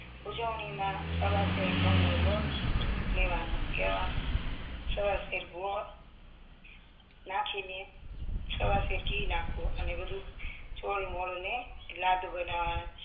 ઉજવણીમાં સવા શેર ઘઉંનો લોટ લેવાનો એમાં સવા શેર ગોળ નાખીને સવા શેર ઘી નાખવું નાખીને બધું ચોળીમોળી ને લાડુ બનાવના